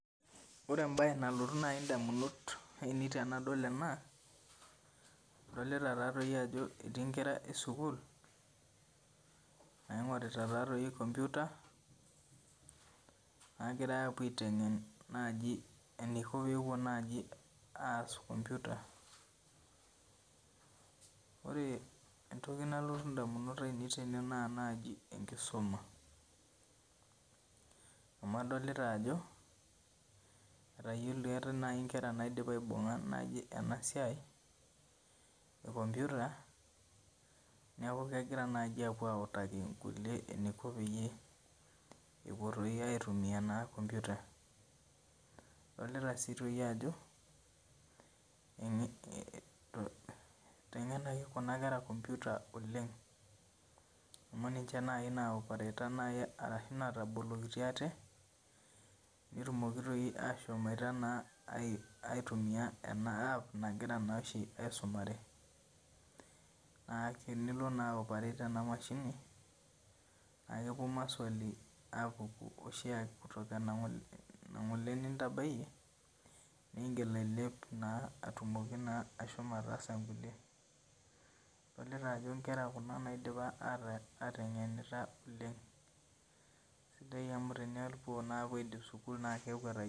Oree embae nai nalotu nai intamunot ainei tenadol ena adolita taadoi ajo ketii inkera esukul naing'orita taadoi Computer nagirai awuo aiteng'en e naaji eneiko pewuo aas Computer oree endoki nalotu indamunot ainek naa enkisuma' amuu adolita ajo ketayoloutuo keetai inkera nayiolo naibunga anasiai ee Computer adoloita sii ajo keetai inkera natayoloutuo ena siai ee Computer adolota sii ajo keiteng'enaki kuna kera oleng Computer amuu ninjee naaji naatabolokitio aate netumoki naa doi aitumia ena App nagira aisomare naa oree tenilo naa ai operate ena machine ewuo maswali apuku enintabayie ng'ole ,sidai amuu keteng'enita kuna kera oleng' na oree peidip sukul netayoloutuo.